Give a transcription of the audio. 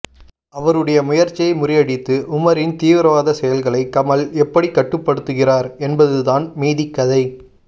அவருடைய முயற்சியை முறியடித்து உமரின் தீவிரவாத செயல்களை கமல் எப்படி கட்டுப்படுத்துகிறார் என்பதுதான் மீதிக்கதை